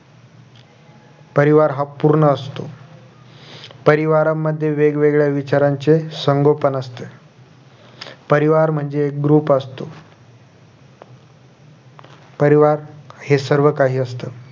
परिवार हा पूर्ण असतो परिवारांमध्ये वेगवेगळ्या विचारांचे संगोपन असते परिवार म्हणजे एक group असतो परिवार हे सर्व काही असतं